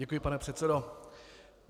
Děkuji, pane předsedo.